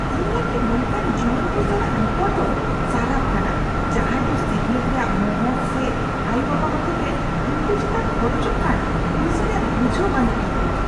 ᱤᱧ ᱞᱟᱹᱜᱤᱫ ᱱᱚᱝᱠᱟᱱ ᱡᱩᱣᱟᱹᱱ ᱠᱚ ᱥᱟᱞᱟᱜ ᱨᱚᱯᱚᱲ ᱫᱚ ᱥᱟᱨᱟᱯ ᱠᱟᱱᱟ ᱡᱟᱦᱟᱸᱭ ᱫᱚ ᱥᱤᱠᱷᱱᱟᱹᱛ ᱨᱮᱭᱟᱜ ᱢᱚᱦᱚᱛ ᱥᱮ ᱟᱭᱳᱼᱵᱟᱵᱟ ᱦᱚᱛᱮᱛᱮ ᱩᱱᱠᱩ ᱪᱮᱛᱟᱱ ᱠᱷᱚᱨᱚᱪᱚᱜ ᱠᱟᱱ ᱯᱩᱭᱥᱟᱹ ᱨᱮᱭᱟᱜ ᱵᱩᱡᱷᱟᱹᱣ ᱵᱟᱹᱱᱩᱜ ᱛᱟᱠᱚᱣᱟ ᱾